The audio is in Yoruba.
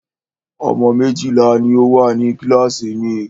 Ọmọ méjìlá ní o wà ní kíláàsì mi.